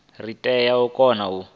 ri tea u kona u